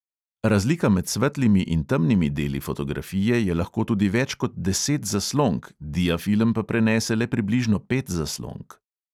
Razlika med svetlimi in temnimi deli fotografije je lahko tudi več kot deset zaslonk, diafilm pa prenese le približno pet zaslonk.